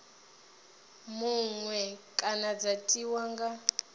muṅwe kana dza tiwa nga